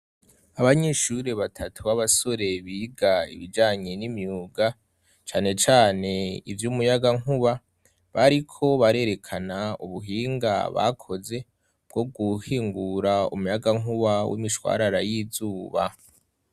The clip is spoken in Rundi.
Abanyishuri batatu b'abasore biga ibijanye n'imyuga canecane ivyo umuyaga nkuba bariko barerekana ubuhinga bakoze bwo guhingura umuyaga nkuba w'imishwarara y'izuba.